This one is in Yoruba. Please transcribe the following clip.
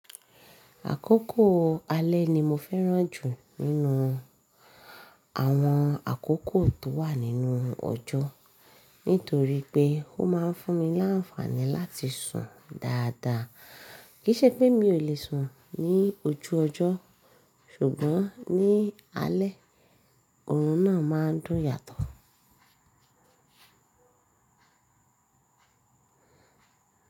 Àkókò alẹ́ ni mo fẹ́ràn jù nínú àwọn àkókò tó wà nínú ọjọ́. Nítorí pé ó máa ń fún mi láǹfààní láti sùn dáadáa. Kìí ṣe pé mi ò lè sùn ní ojú ọjọ́, ṣùgbọ́n ní alẹ́, òórùn náà máa ń dùn yàtọ̀.